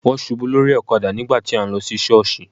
Wón ṣubú lórí ọ̀kadà nígbà tí à ń lọ sí sọọsi.